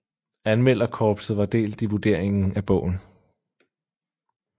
Anmelderkorpset var delt i vurderingen af bogen